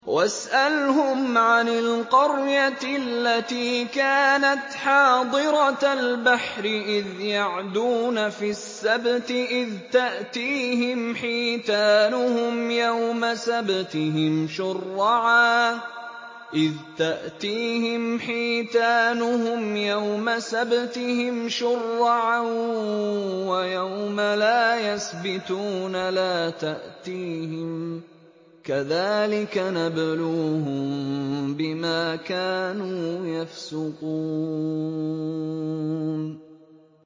وَاسْأَلْهُمْ عَنِ الْقَرْيَةِ الَّتِي كَانَتْ حَاضِرَةَ الْبَحْرِ إِذْ يَعْدُونَ فِي السَّبْتِ إِذْ تَأْتِيهِمْ حِيتَانُهُمْ يَوْمَ سَبْتِهِمْ شُرَّعًا وَيَوْمَ لَا يَسْبِتُونَ ۙ لَا تَأْتِيهِمْ ۚ كَذَٰلِكَ نَبْلُوهُم بِمَا كَانُوا يَفْسُقُونَ